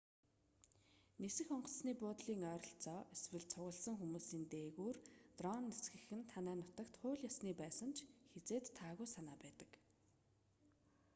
нисэх онгоцны буудлын ойролцоо эсвэл цугласан хүмүүсийн дээгүүр дрон нисгэх нь танай нутагт хууль ёсны байсан ч хэзээд таагүй санаа байдаг